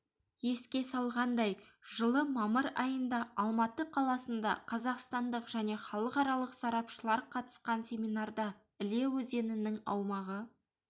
еске салғандай жылы мамыр айында алматы қаласында қазақстандық және халықаралық сарапшылар қатысқан семинарда іле өзенінің аумағы